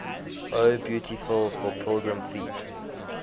o beautiful for pilgrim feet